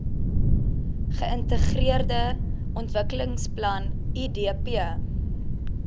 geintegreerde ontwikkelingsplan idp